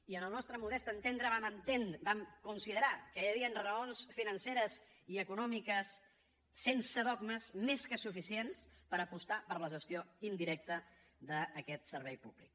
i en el nostre modest entendre vam considerar que hi havia raons financeres i econòmiques sense dogmes més que suficients per apostar per la gestió indirecta d’aquest servei públic